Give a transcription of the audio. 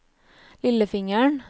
lillefingeren